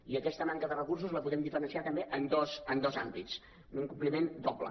i aquesta manca de recursos la podem diferenciar també en dos àmbits un incompliment doble